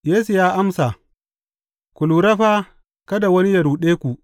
Yesu ya amsa, Ku lura fa, kada wani yă ruɗe ku.